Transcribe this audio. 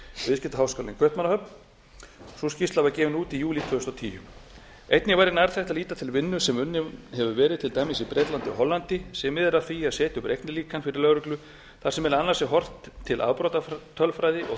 viðskiptaháskólann í kaupmannahöfn sú skýrsla var gefin út í júlí tvö þúsund og tíu einnig væri nærtækt að líta til vinnu sem unnin hefur verið til dæmis í bretlandi og hollandi sem miðar að því að setja upp reiknilíkan fyrir lögreglu þar sem meðal annars er horft til afbrotatölfræði og